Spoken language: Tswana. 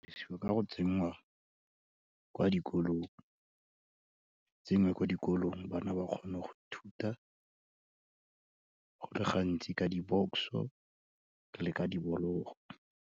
ka go tsenngwa kwa dikolong, tse dingwe ko dikolong bana ba kgone go ithuta go le gantsi ka dibokoso, le ka dibologo.